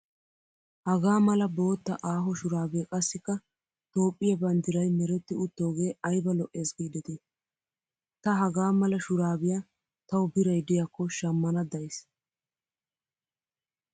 Hagaa mala bootta aaho shuraabee qassikka toophphiyaa banddirayi meretti uttoogee ayiba lo''es giideti. Ta hagaa mala shuraabiyaa tawu birayi diyaakko shammana dayisi.